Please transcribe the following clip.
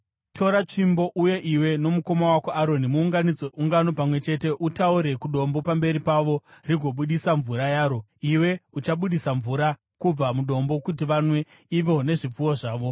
“Tora tsvimbo uye iwe nomukoma wako Aroni muunganidze ungano pamwe chete. Utaure kudombo pamberi pavo rigobudisa mvura yaro. Iwe uchabudisa mvura kubva mudombo kuti vanwe ivo nezvipfuwo zvavo.”